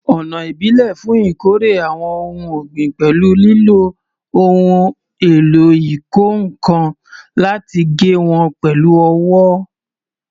Ọ̀nà ìbílẹ̀ fún ìkórè àwọn ohun ọ̀gbìn pẹ̀lú lílo ohun èlò ìkọ́ nǹkan láti gé wọn pẹ̀lú ọwọ́